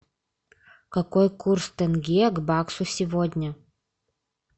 какой курс тенге к баксу сегодня